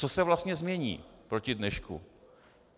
Co se vlastně změní proti dnešku?